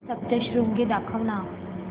सप्तशृंगी दाखव ना